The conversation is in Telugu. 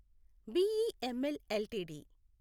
BEML LTD